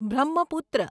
Brahmaputra